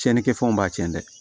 Tiɲɛnikɛfɛnw b'a tiɲɛ dɛ